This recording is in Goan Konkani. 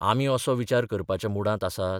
आमी असो विचार करपाच्या मुडांत आसात?